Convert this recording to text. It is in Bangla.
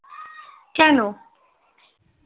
কেনো